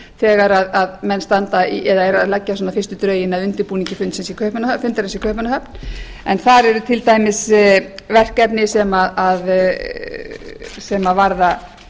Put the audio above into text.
þegar menn standa í eða eru að leggja svona fyrstu drögin að undirbúningi fundarins í kaupmannahöfn þar eru til dæmis verkefni sem varða